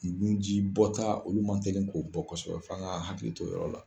Ni nu ji bɔta, olu man tɛli ko bɔ kɔsɔbɛ f'an ka hakilitɔ o yɔrɔ la.